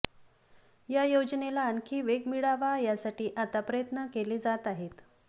या योजनेला आणखी वेग मिळावा यासाठी आता प्रयत्न केले जात आहेत